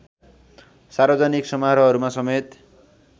सार्वजनिक समारोहहरूमा समेत